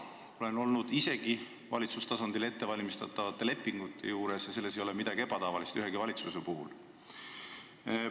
Olen ise olnud valitsustasandil ettevalmistatavate lepingute koostamise juures ja selles ei ole midagi ebatavalist ühegi valitsuse puhul.